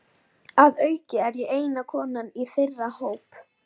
Að auki er ég eina konan í þeirra hópi.